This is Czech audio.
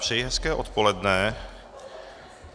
Přeji hezké odpoledne.